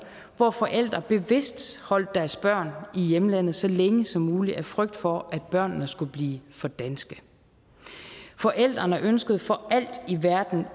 hvor forældre bevidst holdt deres børn i hjemlandet så længe som muligt af frygt for at børnene skulle blive for danske forældrene ønskede for alt i verden